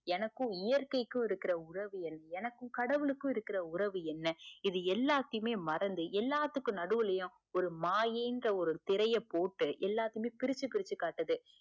எனக்கும் இயற்கைக்கும் இருக்குற உறவு என்ன எனக்கும் கடவுளுக்கும் இருக்குற உறவு என்ன இது எல்லாத்தையுமே மறந்து எல்லாத்துக்கும் நடுவுளையும் ஒரு மாயை இன்ற ஒரு திரையை போட்டு எல்லாத்திலேயும் பிரிச்சு பிரிச்சு காட்டுது